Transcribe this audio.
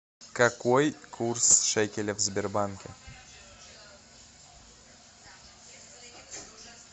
какой курс шекеля в сбербанке